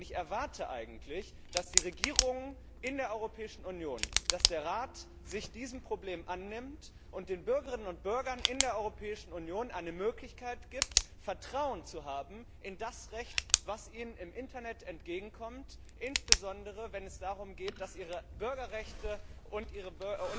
Ich erwarte eigentlich, dass die Regierung in der Europäischen Union, dass der Rat sich dieses Problems annimmt und den Bürgerinnen und Bürgern in der Europäischen Union die Möglichkeit gibt, Vertrauen in das Recht zu haben, das ihnen im Internet entgegenkommt, insbesondere wenn es darum geht, dass ihre Bürgerrechte und ihre